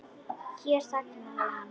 Hér þagnaði hann.